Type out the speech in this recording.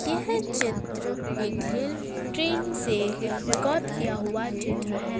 यह चित्र एक रेल ट्रैन से रिकॉर्ड किया हुआ चित्र है।